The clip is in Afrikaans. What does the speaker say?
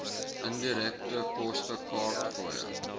indirekte koste kaartfooie